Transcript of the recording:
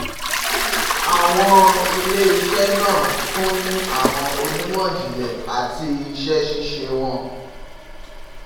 Awọn ile-iṣẹ naa tun ni awọn onimọ-jinlẹ ọrọ ati iṣẹ-ṣiṣe wọn